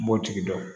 N b'o tigi dɔn